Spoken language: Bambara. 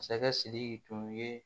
Masakɛ sidiki tun ye